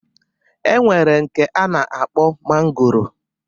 E nwere nke a na-akpọ mangoro